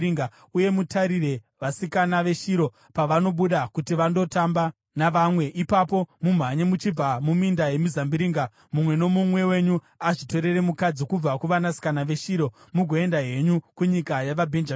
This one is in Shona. uye mutarire. Vasikana veShiro pavanobuda kuti vandotamba navamwe, ipapo mumhanye muchibva muminda yemizambiringa mumwe nomumwe wenyu azvitorere mukadzi kubva kuvasikana veShiro mugoenda henyu kunyika yavaBhenjamini.